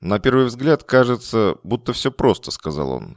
на первый взгляд кажется будто все просто сказал он